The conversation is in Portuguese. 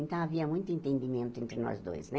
Então, havia muito entendimento entre nós dois, né?